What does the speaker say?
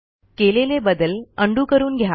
केलेले बदल उंडो करून घ्या